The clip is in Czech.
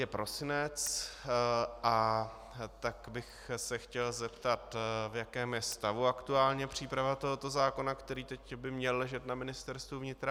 Je prosinec, a tak bych se chtěl zeptat, v jakém je stavu aktuálně příprava tohoto zákona, který teď by měl ležet na Ministerstvu vnitra.